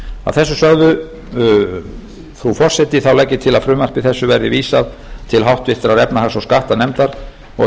að þessu sögðu frú forseti þá legg ég til að frumvarpi þessu verði vísað til háttvirtrar efnahags og skattanefndar og